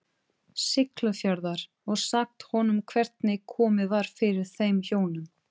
Siglufjarðar, og sagt honum hvernig komið var fyrir þeim hjónum.